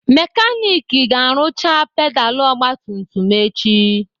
Mekanik ga-arụcha pedalụ ogbatumtum m echi.